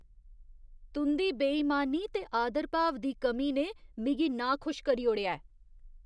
तुं'दी बेईमानी ते आदरभाव दी कमी ने मिगी नाखुश करी ओड़ेआ ऐ।